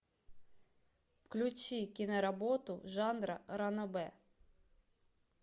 включи киноработу жанра ранобэ